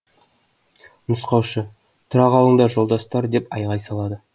нұсқаушы тұра қалыңдар жолдастар деп айғай салады